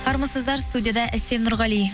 армысыздар студияда әсем нұрғали